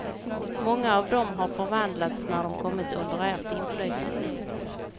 Många av dem har förvandlats när de kommit under ert inflytande.